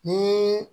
Ni